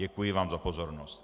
Děkuji vám za pozornost.